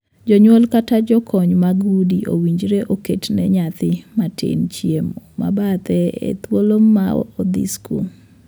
Jonyuol kata jokony mag udi owinjore oketne nyathi matin chiemo ma bathe e thuolo ma odhi skul.